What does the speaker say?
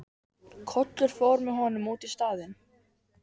Kollur fór með honum út í staðinn.